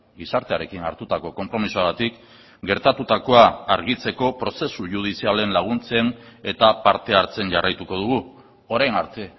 gizartearekin hartutako konpromisoagatik gertatutakoa argitzeko prozesu judizialen laguntzen eta parte hartzen jarraituko dugu orain arte